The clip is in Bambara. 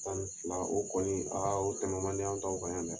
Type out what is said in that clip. Tan ni fila o kɔni o tɛmɛ man di an taw kan yan dɛ!